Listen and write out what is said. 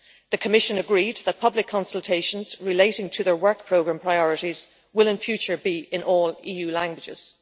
The Commission agreed that public consultations relating to their work programme priorities will in future be in all EU languages.